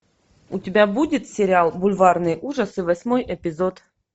у тебя будет сериал бульварные ужасы восьмой эпизод